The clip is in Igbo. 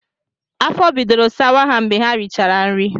Afọ bidoro sawa ha mgbe ha richara nri